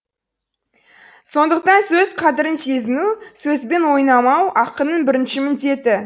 сондықтан сөз қадірін сезіну сөзбен ойнамау ақынның бірінші міндеті